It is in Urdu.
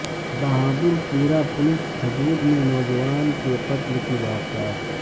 بہادر پورہ پولیس حدود میں نوجوان کے قتل کی واردات